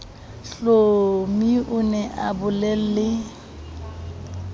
hlomi o ne a bolelle